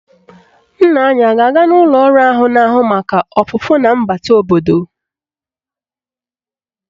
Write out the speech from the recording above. Nna ya a ga-aga n'ụlọ ọrụ na-ahụ maka ọpụpụ na mbata obodo?